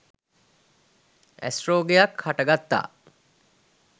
ඇස් රෝගයක් හට ගත්තා.